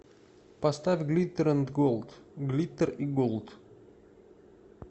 поставь глиттер энд голд глиттер и голд